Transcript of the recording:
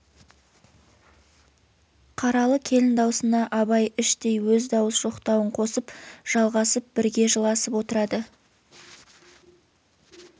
қаралы келін даусына абай іштей өз дауыс жоқтауын қосып жалғасып бірге жыласып отырады